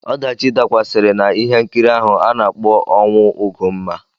Ọdachi dakwasịrị na ihe nkiri ahụ a na-akpọ 'ọnwụ Ugonma'.